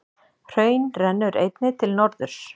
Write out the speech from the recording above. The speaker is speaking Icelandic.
Hraun rennur einnig til norðurs.